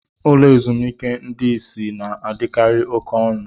Ụlọ ezumike ndị isi na-adịkarị oke ọnụ.